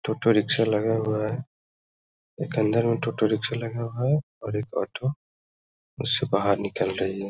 टोटो rickshaw लगा हुआ है। एक अंदर में टोटो रिक्शा लगा हुआ है और एक ऑटो उस से बाहर निकल रही है।